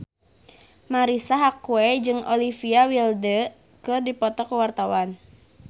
Marisa Haque jeung Olivia Wilde keur dipoto ku wartawan